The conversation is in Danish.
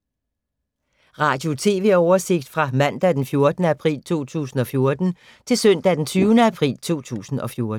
Radio/TV oversigt fra mandag d. 14. april 2014 til søndag d. 20. april 2014